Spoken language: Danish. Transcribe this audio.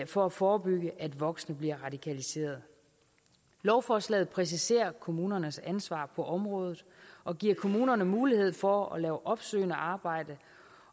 for at forebygge at voksne bliver radikaliseret lovforslaget præciserer kommunernes ansvar på området og giver kommunerne mulighed for at lave opsøgende arbejde